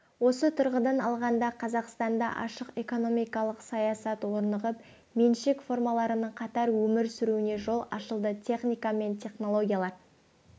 осы тұрғыдан алғанда қазақстанда ашық экономикалық саясат орнығып меншік формаларының қатар өмір сүруіне жол ашылды техника мен технологиялар